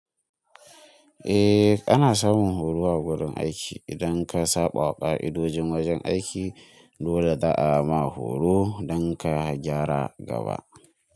Eh ana samun horo a wurin aiki idan ka saɓawa ƙa'idojin wajen aiki dole za a ma horo don ka jara gaba.